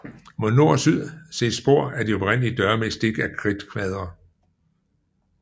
Mod nord og syd ses spor af de oprindelige døre med stik af kridtkvadre